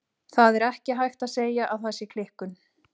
Það er ekki hægt að segja að það sé klikkun.